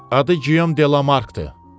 Adı Gyom de la Markdır.